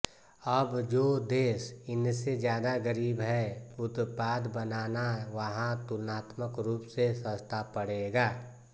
अब जो देश इनसे ज़्यादा ग़रीब हैं उत्पाद बनाना वहाँ तुलनात्मक रूप से सस्ता पड़ेगा